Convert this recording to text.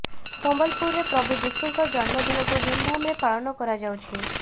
ସମ୍ବଲପୁରରେ ପ୍ରଭୁ ଯୀଶୁଙ୍କ ଜନ୍ମଦିନକୁ ଧୂମଧାମ୍ ରେ ପାଳନ କରାଯାଉଛି